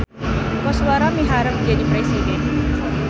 Koswara miharep jadi presiden